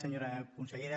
senyora consellera